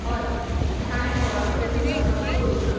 हय, ताणें कोणाकडेनूच संपर्क करूंक ना.